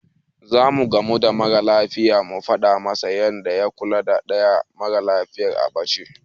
Zamu gamu da mara lafiyar mu faɗa masa yanda ya kula da ɗaya mara lafiyar a ɓace.